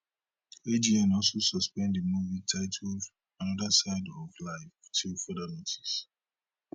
agn also suspend di movie titled another side of life till further notice